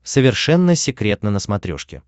совершенно секретно на смотрешке